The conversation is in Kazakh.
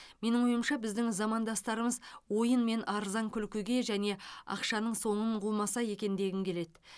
менің ойымша біздің замандастарымыз ойын мен арзан күлкіге және ақшаның соңын қумаса екен дегім келеді